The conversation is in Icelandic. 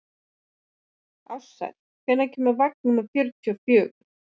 Ársæll, hvenær kemur vagn númer fjörutíu og fjögur?